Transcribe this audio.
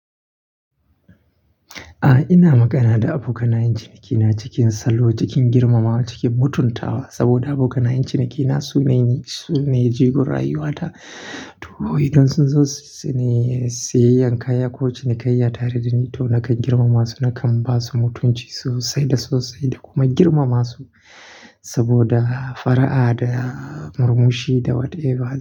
A'a, ina magana da abokanayen cinikina cikin salo, cikin girmamawa, cikin mutuntawa saboda abokanayen cinikina su ne jigo rayuwata. To idan sun zo su ne sayayyan kaya ko cinikayya tare da ni to nakan girmama su, nakan ba su mutunci sosai da sosai da kuma girmama su saboda fara'a da murmushi da what ever.